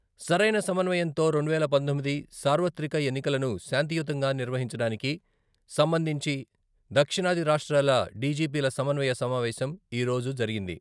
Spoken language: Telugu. సరైన సమన్వయంతో రెండువేల పంతొమ్మిది సార్వత్రిక ఎన్నికలను శాంతియుతంగా నిర్వహించడానికి సంబంధించి దక్షిణాది రాష్ట్రాల డిజిపీల సమన్వయ సమావేశం ఈరోజు జరిగింది.